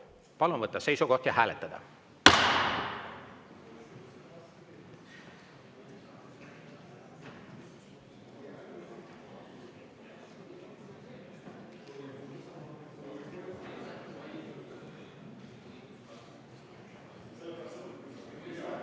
Palun võtta seisukoht ja hääletada!